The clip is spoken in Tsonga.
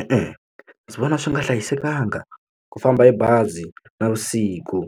E-e ndzi vona swi nga hlayisekanga ku famba hi bazi navusiku